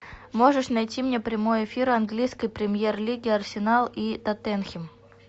можешь найти мне прямой эфир английской премьер лиги арсенал и тоттенхэм